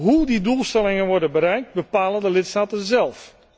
Hoe die doelstellingen worden bereikt bepalen de lidstaten zelf.